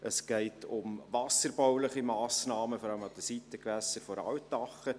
Es geht um wasserbauliche Massnahmen, vor allem an den Seitengewässern der Altache.